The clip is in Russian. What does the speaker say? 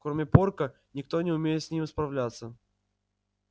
кроме порка никто не умеет с ним справляться